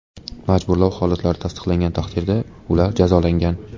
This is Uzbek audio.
Majburlov holatlari tasdiqlangan taqdirda, ular jazolangan.